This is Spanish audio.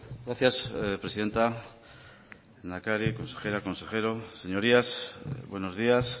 gracias presidenta lehendakari consejera consejero señorías buenos días